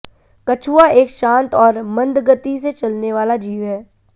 कछुआ एक शांत और मंदगति से चलने वाला जीव है